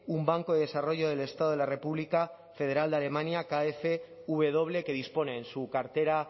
un banco de desarrollo del estado de la república federal de alemania kfw que dispone en su cartera